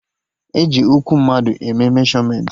E ji ụkwụ mmadụ eme meshọmentị